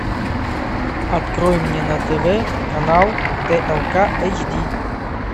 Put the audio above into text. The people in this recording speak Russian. открой мне на тв канал тлк эйч ди